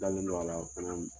N Dalen don ala fana..